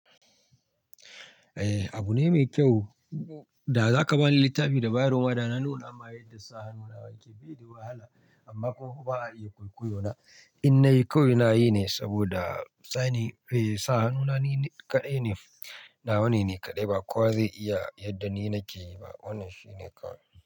Eh abu ne mai kyau, da za ka bani littafi da bayarwa da na nuna ma yadda sa hannu na yake, bai da wahala amma kuma ba a iya kwaikwayo na. In nayi kawai nayi ne saboda signing, eh sa hannu na ni kaɗai ne, na wane ni kaɗai ba kowa zai iya yadda ni nake yi ba, wannan shi ne kawai.